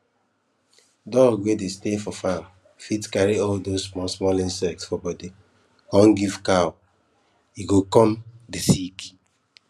dog wey dey stay for farm fit carry all those small small insect for body come go give cow e go come dey sick